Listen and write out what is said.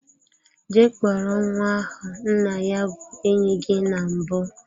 Jee kpọrọ nwa ahu, nna ya bu enyi gi na mbu!